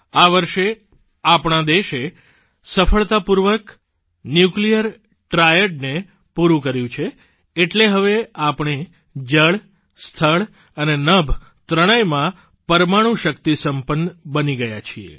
આ વર્ષે આપણા દેશે સફળતાપૂર્વક ન્યુક્લિયર ટ્રાયડ ને પૂરૂં કર્યું છે એટલે હવે આપણે જળ સ્થળ અને નભ ત્રણેયમાં પરમાણુ શક્તિ સંપન્ન બની ગયા છીએ